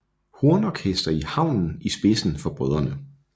Hornorkester i haven i spidsen for brødrene